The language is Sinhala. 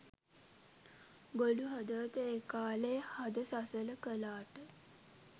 ගොළු හදවත ඒ කාලෙ හද සසල කලාට